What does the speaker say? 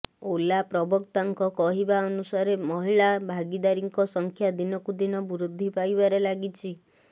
ଓଲା ପ୍ରବକ୍ତାଙ୍କ କହିବାନୁସାରେ ମହିଳା ଭାଗିଦାରିଙ୍କ ସଂଖ୍ୟା ଦିନକୁଦିନ ବୃଦ୍ଧି ପାଇବାରେ ଲାଗିଛି